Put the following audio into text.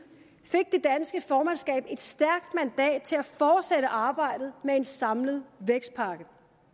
fik det danske formandskab et stærkt mandat til at forsætte arbejdet med en samlet vækstpakke